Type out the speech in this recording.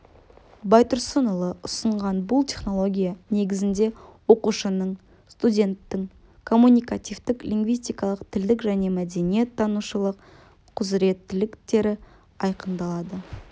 байтұрсынұлы ұсынған бұл технология негізінде оқушының студенттің коммуникативтік лингвистикалық тілдік және мәдениет танушылық құзыреттіліктері айқындалады